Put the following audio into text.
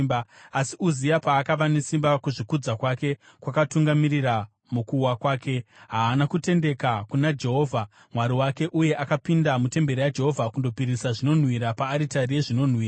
Asi Uzia paakava nesimba, kuzvikudza kwake kwakamutungamirira mukuwa kwake. Haana kutendeka kuna Jehovha Mwari wake, uye akapinda mutemberi yaJehovha kundopisira zvinonhuhwira paaritari yezvinonhuhwira.